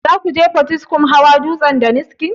Zakuje potiskum hawa dutsen daniski?